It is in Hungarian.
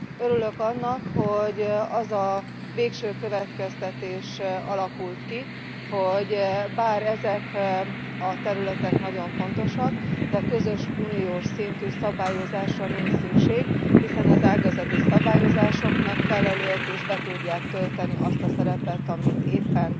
Örülök annak, hogy az a végső következtetés alakult ki, hogy bár ezek a területek nagyon fontosak, de közös uniós szintű szabályozásra nincs szükség, hiszen az ágazati szabályozások megfelelőek és be tudják tölteni azt a szerepet, amit éppen